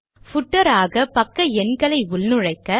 footer ஆக பக்க எண்களை உள்நுழைக்க